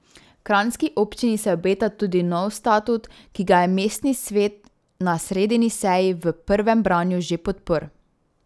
Kranjski občini se obeta tudi nov statut, ki ga je mestni svet na sredini seji v prvem branju že podprl.